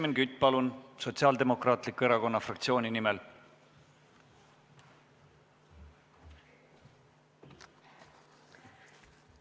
Helmen Kütt, palun, Sotsiaaldemokraatliku Erakonna fraktsiooni nimel!